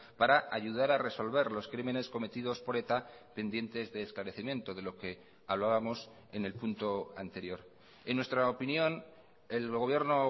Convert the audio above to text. para ayudar a resolver los crímenes cometidos por eta pendientes de esclarecimiento de lo que hablábamos en el punto anterior en nuestra opinión el gobierno